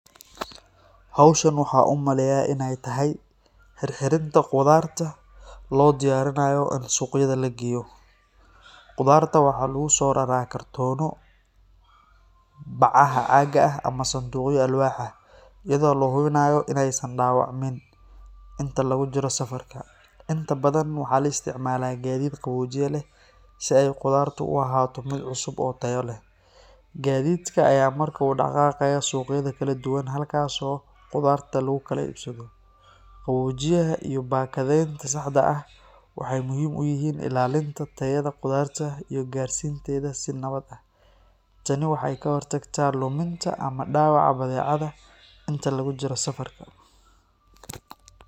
Howeshan waxaan u maleynayaa in ay tahay xirxirinta khudaarta lo diyarinayo in suqyada lageyo. Khudaarta waxaa lagu soo raraa kartoonno, bacaha caaga ah ama sanduuqyo alwaax ah, iyadoo la hubinayo inaysan dhaawacmin inta lagu jiro safarka. Inta badan waxaa la isticmaalaa gaadiid qaboojiye leh si ay khudaartu u ahaato mid cusub oo tayo leh. Gaadiidka ayaa markaa u dhaqaaqaya suuqyada kala duwan, halkaas oo khudaarta lagu kala iibsado. Qaboojiyaha iyo baakadeynta saxda ah waxay muhiim u yihiin ilaalinta tayada khudaarta iyo gaarsiinteeda si nabad ah. Tani waxay ka hortagtaa luminta ama dhaawaca badeecada inta lagu jiro safarka.